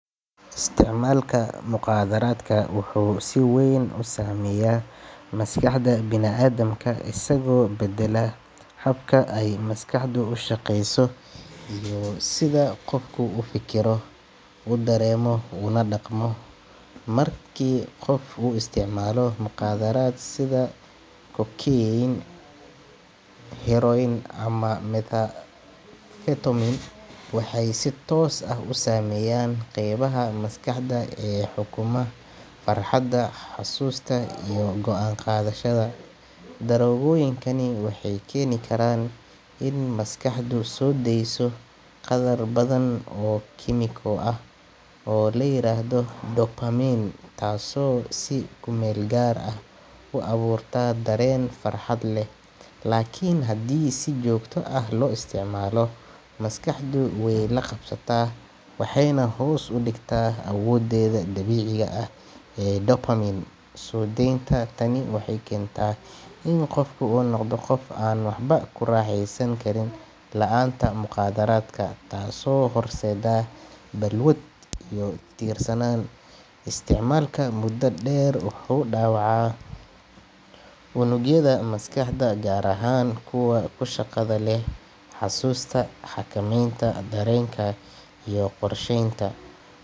Isticmaalka mukhaadaraadka wuxuu si weyn u saameeyaa maskaxda bini’aadamka, isagoo beddela habka ay maskaxdu u shaqeyso iyo sida qofku u fekero, u dareemo, una dhaqmo. Markii qof uu isticmaalo mukhaadaraad sida cocaine, heroin, ama methamphetamine, waxay si toos ah u saameeyaan qaybaha maskaxda ee xukuma farxadda, xasuusta, iyo go'aan qaadashada. Daroogooyinkani waxay keeni karaan in maskaxdu soo deyso qaddar badan oo kiimiko ah oo la yiraahdo dopamine, taasoo si kumeelgaar ah u abuurta dareen farxad leh, laakiin haddii si joogto ah loo isticmaalo, maskaxdu way la qabsataa waxayna hoos u dhigtaa awooddeeda dabiiciga ah ee dopamine soo daynta. Tani waxay keentaa in qofku noqdo qof aan waxba ku raaxaysan karin la'aanta mukhaadaraadka, taasoo horseedda balwad iyo ku tiirsanaan. Isticmaalka muddada dheer wuxuu dhaawacaa unugyada maskaxda gaar ahaan kuwa ku shaqada leh xusuusta, xakameynta dareenka iyo qorsheynta.